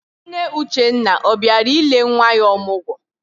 Nne Uchenna ọ bịara ile nwa ya ọmụgwọ?